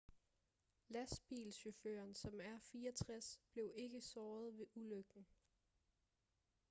lastbilchaufføren som er 64 blev ikke såret ved ulykken